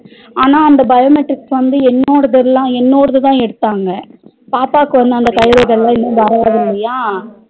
ஆனா அந்த biometrics வந்து என்னோடதுள்ள என்னோடதுதா எடுத்தாங்க பாப்பாக்கு வந்து அந்த கைரேகைல இன்னும் வராது இல்லையா